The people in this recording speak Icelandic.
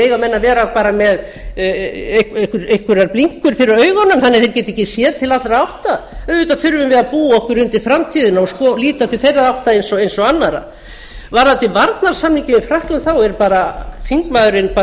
eiga menn bara að vera með einhverjar blinkur fyrir augunum þannig að þeir geti ekki séð til allra átta auðvitað þurfum við að búa okkur undir framtíðina og líta til þeirra átta eins og annarra varðandi varnarsamninginn við frakkland þá er bara þingmaður